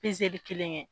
kelen kɛ